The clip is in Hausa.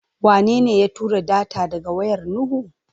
Wanene ya tura data daga wayar Nuhu?